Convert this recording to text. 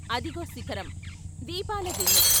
అదిగో శిఖరం, దీపాలదిన్నె....